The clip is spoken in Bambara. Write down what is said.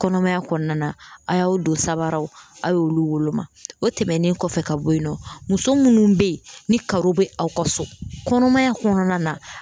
Kɔnɔmaya kɔnɔna a y'o don sanbaraw a y'olu woloma, o tɛmɛnen kɔfɛ ka bɔ yen nɔ muso munnu bɛ yen ni karo bɛ aw ka so, kɔnɔmaya kɔnɔna na